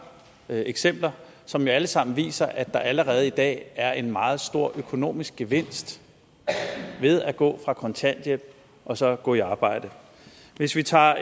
eksempler som jo alle sammen viser at der allerede i dag er en meget stor økonomisk gevinst ved at gå fra kontanthjælp og så gå i arbejde hvis vi tager